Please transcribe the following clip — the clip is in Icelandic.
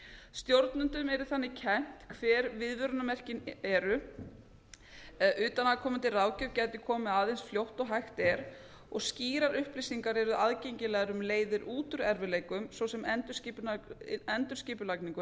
stjórnendum yrði þannig kennt hver viðvörunarmerkin eru utanaðkomandi ráðgjöf gæti komið að eins fljótt og hægt er og skýrar upplýsingar yrðu aðgengilegar um leiðir út úr erfiðleikum svo sem um endurskipulagningu